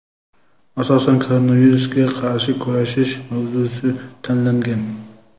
asosan korrupsiyaga qarshi kurashish mavzusi tanlangan;.